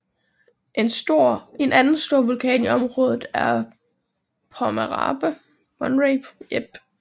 En anden stor vulkan i området er Pomerape